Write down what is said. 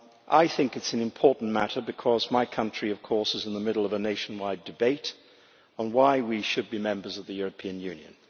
I think it is an important matter because my country, of course, is in the middle of a nationwide debate on why we should be members of the European Union.